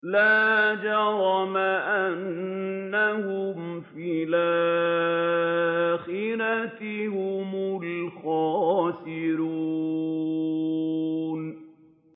لَا جَرَمَ أَنَّهُمْ فِي الْآخِرَةِ هُمُ الْخَاسِرُونَ